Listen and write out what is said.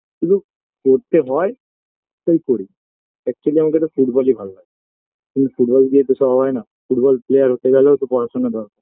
শুধু পড়তে হয় তাই পড়ি actually আমাকে একটা ফুটবল-ই ভালো লাগে কিন্তু ফুটবল দিয়ে তো সব হয়না ফুটবল player হতে গেলেও তো পড়াশোনা দরকার